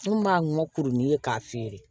N kun b'a ŋɔkuruni k'a feere